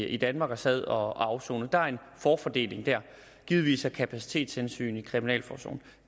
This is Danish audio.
i danmark og sad og afsonede der er en forfordeling der givetvis af kapacitetshensyn i kriminalforsorgen